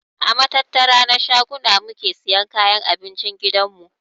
A matattara na shaguna muke siyan kayan abincin gidan mu.